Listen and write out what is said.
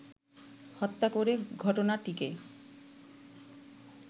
হত্যা করে ঘটনাটিকে